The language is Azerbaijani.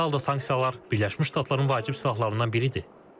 İndiki halda sanksiyalar Birləşmiş Ştatların vacib silahlarından biridir.